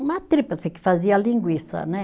Uma tripa, eu sei que fazia a linguiça, né?